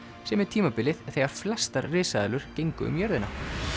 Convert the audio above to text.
sem er tímabilið þegar flestar risaeðlur gengu um jörðina